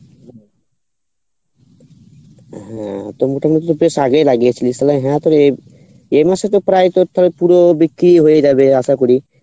ও তো মোটামটি বেশ আগেই লাগিয়েছিলিস তালে হ্যাঁ তালে এ মাসে তো প্রায় তোর তাও পুরো বিক্রি হয়ে যাবে আশা করি